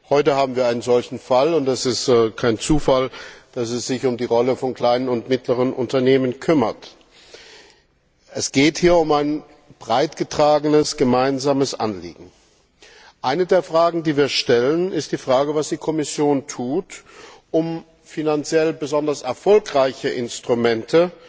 Heute haben wir einen solchen Fall und es ist kein Zufall, dass es sich um die Rolle von kleinen und mittleren Unternehmen handelt. Es geht hier um ein auf breiter Basis getragenes, gemeinsames Anliegen. Eine der Fragen, die wir stellen, ist Was tut die Kommission, um finanziell besonders erfolgreiche Instrumente